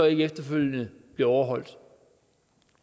ikke efterfølgende overholdes